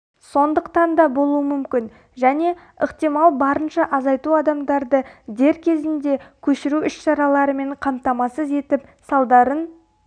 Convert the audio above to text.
сондықтан да болуы мүмкін және ықтимал барынша азайту адамдарды дер кезінде көшіру іс-шараларымен қамтамасыз етіп салдарын